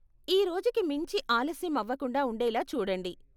ఈ రోజుకి మించి ఆలస్యం అవకుండా ఉండేలా చూడండి.